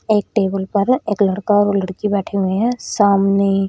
एक टेबल पर एक लड़का और लड़की बैठे हुए हैं सामने--